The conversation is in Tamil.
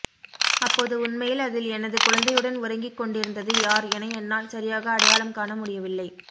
அப்போது உண்மையில் அதில் எனது குழந்தையுடன் உறங்கிக்கொண்டிருந்தது யார் என என்னால் சரியாக அடையாளம் காண முடியவில்லை